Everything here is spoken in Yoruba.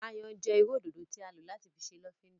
Ayan jẹ iru ododo ti a lo lati ṣe lofinda.